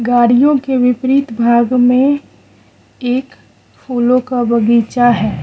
गाड़ियों के विपरीत भाग में एक फूलों का बगीचा है।